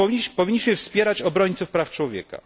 Powinniśmy wspierać obrońców praw człowieka.